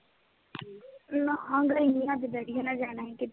ਨਾ, ਹਾਂ ਗਈ ਨੀ ਅੱਜ, ਡੈਡੀ ਹੋਣਾ ਨੇ ਜਾਣਾ ਸੀ ਕੀਤੇ